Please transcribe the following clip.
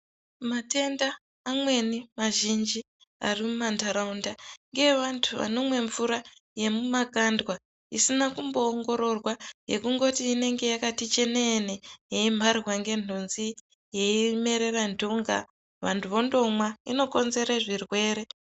Matenda amweni mazhinji ari mumantaraunda, ngeevantu vanomwe mvura yemumakandwa, isina kumboongororwa, yekungoti inenge yakati cheneene, yeimharwa ngenhunzi, yeimerera ntunga, vantu vendomwa, inokonzere zvirwere.